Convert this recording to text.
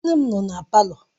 Nne m nọ na palọ.